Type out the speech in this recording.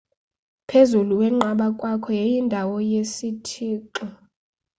phezulu wenqaba kwakho yayindawo yesithixoe